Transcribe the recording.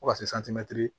Fo ka se